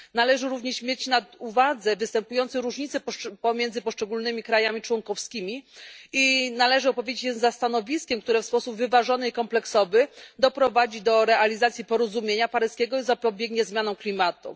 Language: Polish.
Należy również mieć na uwadze występujące różnice pomiędzy poszczególnymi krajami członkowskimi i należy opowiedzieć się za stanowiskiem, które w sposób wyważony i kompleksowy doprowadzi do realizacji porozumienia paryskiego i zapobiegnie zmianom klimatu.